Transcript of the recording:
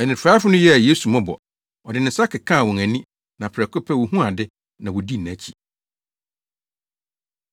Anifuraefo no yɛɛ Yesu mmɔbɔ. Ɔde ne nsa kekaa wɔn ani, na prɛko pɛ wohuu ade, na wodii nʼakyi.